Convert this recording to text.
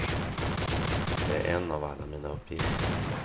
Det är en av alla mina uppgifter.